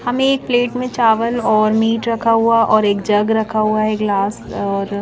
हमें एक प्लेट में चावल और मीट रखा हुआ और एक जग रखा हुआ है ग्लास और--